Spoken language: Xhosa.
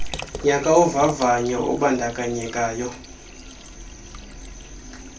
nyaka wovavanyo ubandakanyekayo